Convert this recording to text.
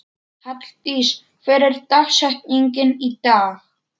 Halldís, hver er dagsetningin í dag?